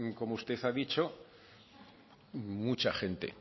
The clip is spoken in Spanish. como usted ha dicho mucha gente